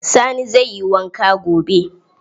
Sani zai yi wanka gobe.